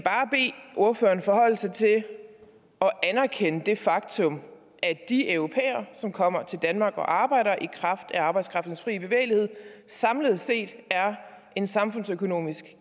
ordføreren forholde sig til og anerkende det faktum at de europæere som kommer til danmark og arbejder i kraft af arbejdskraftens fri bevægelighed samlet set er en samfundsøkonomisk